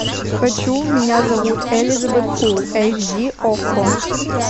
хочу меня зовут элизабет фул эйч ди окко